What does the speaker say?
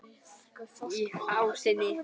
Í fásinni